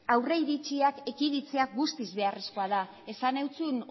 aurriritziak ekiditzea guztiz beharrezkoa da esan zizun